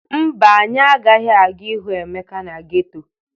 Mba, anyị agaghị aga ịhụ Emeka na geto.